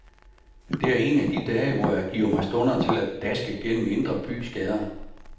Det er en af de dage, hvor jeg giver mig stunder til at daske gennem indre bys gader.